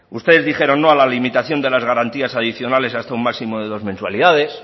ustedes dijeron no a la limitación de las garantías adicionales a su máximo de dos mensualidades